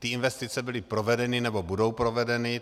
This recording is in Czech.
Ty investice byly provedeny nebo budou provedeny.